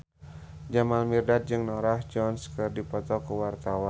Jamal Mirdad jeung Norah Jones keur dipoto ku wartawan